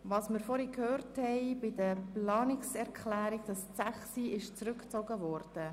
Wir haben vorhin von Herrn Gnägi gehört, dass die Planungserklärung 6 zurückgezogen ist.